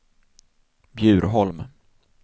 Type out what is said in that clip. Bjurholm